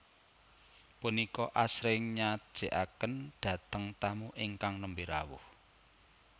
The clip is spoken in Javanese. Punika asring nyajikaken dhateng tamu ingkang nembe rawuh